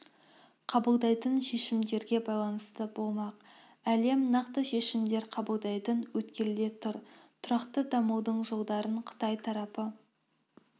қабылдайтын шешімдерге байланысты болмақ әлем нақты шешімдер қабылдайтын өткелде тұр тұрақты дамудың жолдарын қытай тарапы